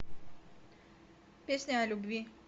песня о любви